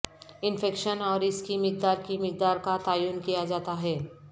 infection اور اس کی مقدار کی مقدار کا تعین کیا جاتا ہے